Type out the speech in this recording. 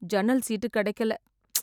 ஜன்னல் சீட்டு கிடைக்கல. ப்ச்.